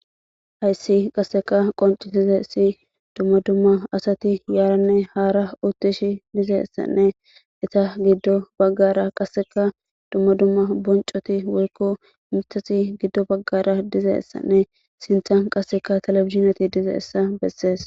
Hayssi qasseka qoncitizesi dumma dumma asati yaaranne haara uttishi dizeessanne eta giddo baggara qasseka dumma dumma boncoti woykko mitasi giddo baggara dizeessanne sintan qasseka talefizineti dize essa bessees.